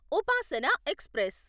Upasana express